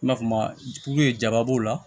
I n'a fɔ maa jaba b'o la